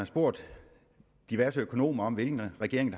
spurgt diverse økonomer om hvilken regering